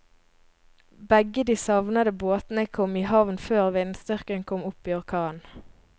Begge de savnede båtene kom i havn før vindstyrken kom opp i orkan.